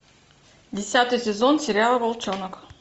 десятый сезон сериала волчонок